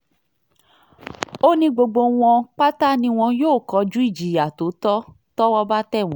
ó ní gbogbo wọn pátá ni wọn yóò kojú ìjìyà tó tọ́ tọ́wọ́ bá tẹ̀ wọ́n